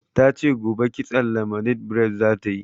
Ta ce gobe kitson lemonade bred za ta yi.